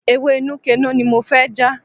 Ewé Nuke Noh ni mo fẹ́ já.